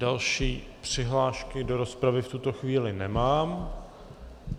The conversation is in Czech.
Další přihlášky do rozpravy v tuto chvíli nemám.